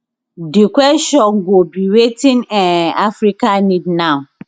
di kwesion go be wetin um africa need now